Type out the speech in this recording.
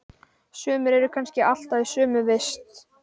Sumir eru kannski alltaf í sömu vist.